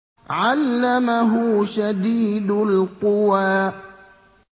عَلَّمَهُ شَدِيدُ الْقُوَىٰ